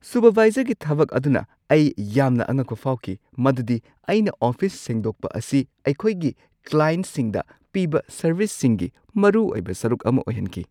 ꯁꯨꯄꯔꯚꯥꯏꯖꯔꯒꯤ ꯊꯕꯛ ꯑꯗꯨꯅ ꯑꯩ ꯌꯥꯝꯅ ꯑꯉꯛꯄ ꯐꯥꯎꯈꯤ ꯃꯗꯨꯗꯤ ꯑꯩꯅ ꯑꯣꯐꯤꯁ ꯁꯦꯡꯗꯣꯛꯄ ꯑꯁꯤ ꯑꯩꯈꯣꯏꯒꯤ ꯀ꯭ꯂꯥꯏꯟꯠꯁꯤꯡꯗ ꯄꯤꯕ ꯁꯔꯚꯤꯁꯁꯤꯡꯒꯤ ꯃꯔꯨꯑꯣꯏꯕ ꯁꯔꯨꯛ ꯑꯃ ꯑꯣꯏꯍꯟꯈꯤ ꯫